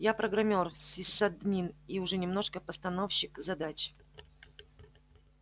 я программёр сисадмин и уже немножко постановщик задач